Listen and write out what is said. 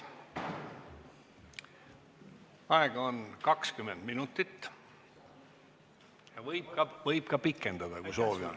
Aega on 20 minutit ja seda võib ka pikendada, kui soovi on.